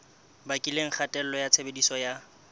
bakileng kgatello ya tshebediso ya